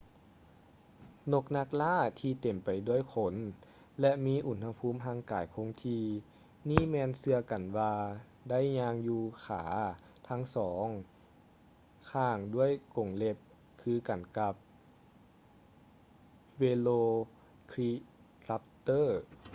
ນົກນັກລ່າທີ່ເຕັມໄປດ້ວຍຂົນ ແລະ ມີອຸນຫະພູມຮ່າງກາຍຄົງທີ່ນີ້ແມ່ນເຊື່ອກັນວ່າໄດ້ຍ່າງຢູ່ຂາທັງສອງຂ້າງດ້ວຍກົງເລັບຄືກັນກັບ velociraptor